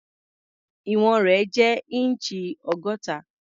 Ìwọ̀n rẹ̀ jẹ́ inch ọgọ́ta.